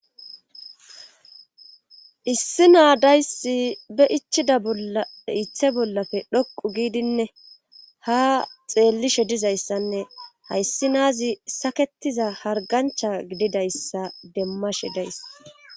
issi naadayssi be ichida bolla ithe bollafe dhoqu giidinne ha xeellishe dizayssanne hayssi naazi saketiza hargancha gididayssa demmashe days